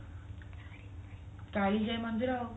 କାଳିଜାଇ ମନ୍ଦିର